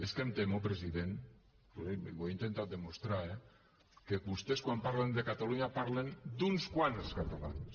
és que em temo president ho he intentat demostrar eh que vostès quan parlen de catalunya parlen d’uns quants catalans